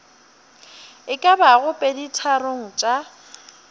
e ka bago peditharong tša